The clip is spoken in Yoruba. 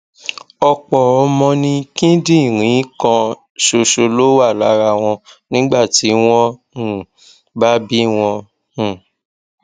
ọpọ ọmọ ni kíndìnrín kan ṣoṣo ló wà lára wọn nígbà tí wọn um bá bí wọn um